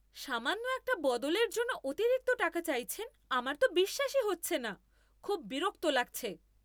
সামান্য একটা বদলের জন্য অতিরিক্ত টাকা চাইছেন আমার তো বিশ্বাসই হচ্ছে না! খুব বিরক্ত লাগছে।